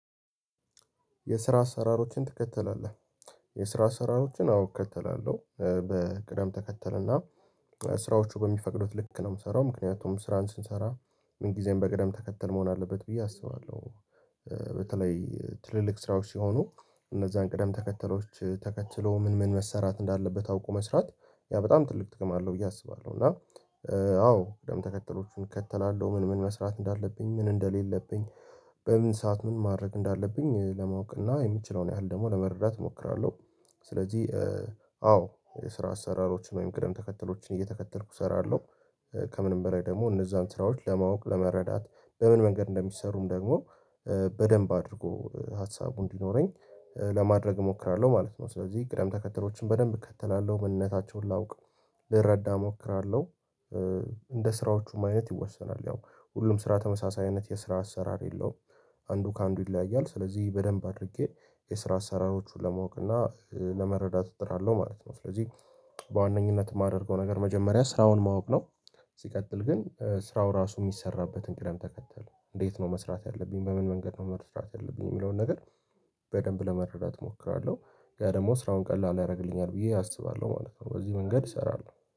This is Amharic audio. የስራ አሰራሮችን ትከተላለህ የስራ አሰራሮችን አውቀህ ትከተላለህ በቅደም ተከተል እና ስራዎቹ በሚፈቅዱት ልክ ነው የምሰራው ምክንያቱም ስራን ስንሰራ ምን ጊዜም በቅደም ተከተል መሆን አለበት ብዬ አስባለሁ። በተለይ ትልልቅ ስራዎች ሲሆኑ እነዛን ቅደም ተከተሎች ተከትሎ ምን ምን መሰራት እንዳለበት አውቆ መስራት ያ በጣም ትልቅ ጥቅም አለው ብዬ አስባለሁ። እና አዎ ደም ተከተሎቹን እከተላለሁ ምን ምን መስራት እንዳለብኝ ምን እንደሌለብኝ በምን ሰዓት ምን ማድረግ እንዳለብኝ ትለማወቅ እና የምችለውን ያህል ደግሞ ለመረዳት እሞክራለሁ። ስለዚህ አዎ የስራ አሰራሮችን ወይም ቅደም ተከተሎችን እየተከተልኩ እሰራለሁ። ከምንም በላይ ደግሞ እነዛን ስራዎች ለማወቅ ለመረዳት በምን መንገድ እንደሚሠሩም ደግሞ በደንብ አድርጎ ሀሳቡ እንዲኖረኝ ለማድረግ እሞክራለሁ ማለት ነው። ስለዚህ ቅደም ተከትሎችን በደንብ እከተላለሁ ምንነታቸውን ላውቅ ልረዳ እሞክራለሁ። እንደ ስራዎቹም አይነት ይወሰናል ያው ሁሉም ስራ ተመሳሳይነት የስራ አሰራር የለውም። አንዱ ከአንዱ ይለያያል ስለዚህ በደንብ አድርጌ የስራ አሠራሮቹን ለማወቅ እና ለመረዳት እጥራለሁ ማለት ነው። ስለዚህ በዋነኝነት የማደርገው ነገር መጀመሪያ ስራውን ማወቅ ነው። ሲቀጥል ግን ስራው ራሱ የሚሰራበትን ቅደም ተከተል እንዴት ነው መስራት ያለብኝ በምን መንገድ ነው መስራት ያለብኝ የሚለውን ነገር በደንብ ለመረዳት እሞክራለሁ። ያ ደግሞ ስራውን ቀላል ያደርግልኛል ብዬ አስባለሁ ማለት ነው። በዚህ መንገድ እሰራለሁ